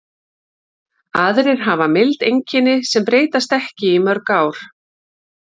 Aðrir hafa mild einkenni sem breytast ekki í mörg ár.